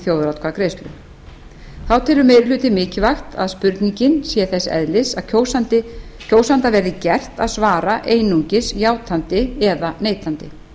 þjóðaratkvæðagreiðslu þá telur meiri hlutinn mikilvægt að spurningin sé þess eðlis að kjósanda verði gert að svara einungis játandi eða neitandi